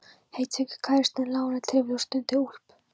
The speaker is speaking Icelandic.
Heitfengur kærastinn lánaði trefil og stundum úlpu.